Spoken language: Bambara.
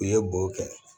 U ye bo kɛ